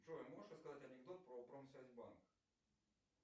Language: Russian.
джой можешь рассказать анекдот про промсвязьбанк